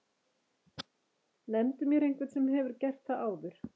Nefndu mér einhvern sem hefur gert það áður?!